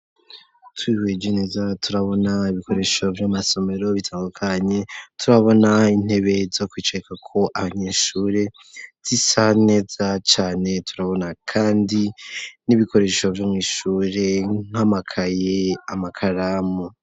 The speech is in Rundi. Twihweje neza turabona ibikoresho vy'amasomero bitandukanye ,turabona intebe zo kwicarako abanyeshure zisa neza cane, turabona kandi n'ibikorehesho vyo mw'ishure nk'amakaye, amakaramu.